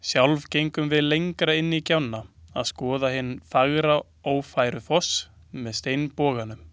Sjálf gengum við lengra inn í gjána að skoða hinn fagra Ófærufoss með steinboganum.